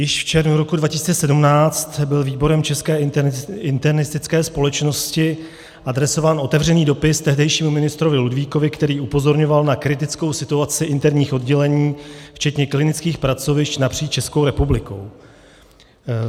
Již v červnu roku 2017 byl výborem České internistické společnosti adresován otevřený dopis tehdejšímu ministrovi Ludvíkovi, který upozorňoval na kritickou situaci interních oddělení včetně klinických pracovišť napříč Českou republikou.